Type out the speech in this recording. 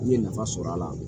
N ye nafa sɔrɔ a la